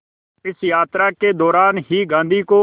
इस यात्रा के दौरान ही गांधी को